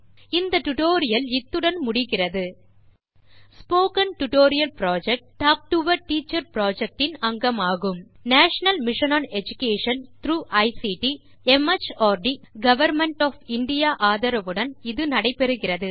இந்த டியூட்டோரியல் இத்துடன் முடிகிறது spoken tutorial project talk to a teacher project இன் அங்கமாகும் national mission on education through ICT MHRD government of India ஆதரவுடன் இது நடைபெறுகிறது